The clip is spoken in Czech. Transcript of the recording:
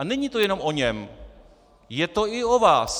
A není to jenom o něm, je to i o vás.